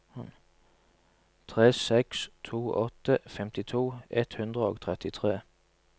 tre seks to åtte femtito ett hundre og trettitre